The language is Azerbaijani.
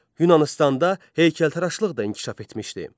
Yunanıstanda heykəltaraşlıq da inkişaf etmişdi.